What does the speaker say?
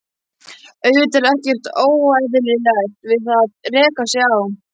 Auðvitað er ekkert óeðlilegt við það að reka sig á.